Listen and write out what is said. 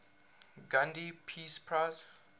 gandhi peace prize